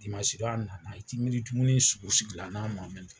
Dimansi don a nana, i t'i miiri dumuni sugu sugu la n'a ma min